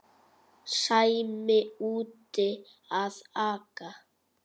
Sæmi úti að aka.